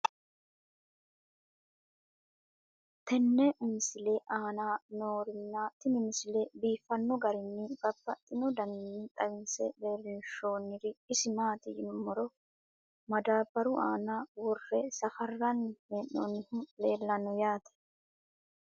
tenne misile aana noorina tini misile biiffanno garinni babaxxinno daniinni xawisse leelishanori isi maati yinummoro madaabaru aanna wore safaaranni hee'noonnihu leelanno yaatte